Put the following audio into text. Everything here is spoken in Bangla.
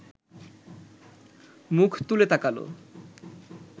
মুখ তুলে তাকাল